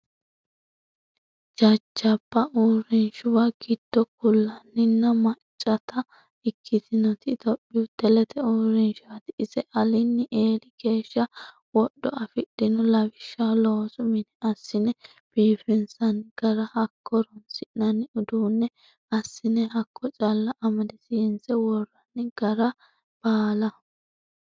Jajjabba uurrinshuwa giddo ku'laninna maccatta ikkitinoti tophiyu telete uurrinshati ise alini eelli geeshsha wodho afidhino lawishshaho loosu mine assine biifinsanni gara hakko horonsi'nanni uduune assine hakko calla amadisiise woranni gara baalla.